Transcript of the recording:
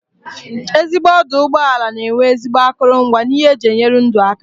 Ezigbo ọdụ ụgbọelụ na enwe ezigbo akụrụngwa na ihe eji enyere ndụ aka